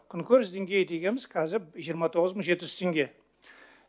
күнкөріс деңгейі дегеніміз қазір жиырма тоғыз мың жеті жүз теңге